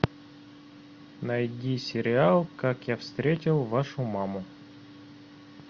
найди сериал как я встретил вашу маму